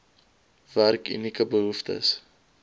werk unieke behoeftes